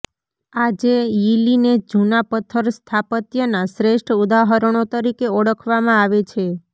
આજે યીલીને જૂના પથ્થર સ્થાપત્યના શ્રેષ્ઠ ઉદાહરણો તરીકે ઓળખવામાં આવે છે